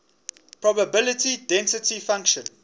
probability density function